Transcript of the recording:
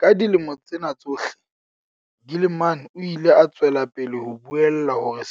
Ka dilemo tsena tsohle, Gilman o ile a tswela pele ho buella hore